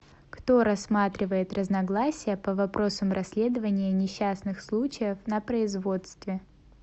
кто рассматривает разногласия по вопросам расследования несчастных случаев на производстве